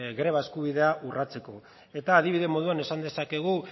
greba eskubidea urratzeko eta adibide moduan esan dezakegu